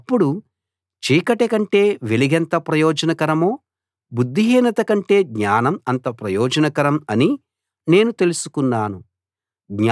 అప్పుడు చీకటి కంటే వెలుగెంత ప్రయోజనకరమో బుద్ధిహీనత కంటే జ్ఞానం అంత ప్రయోజనకరం అని నేను తెలుసుకున్నాను